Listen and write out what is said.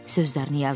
sözlərini yazdı.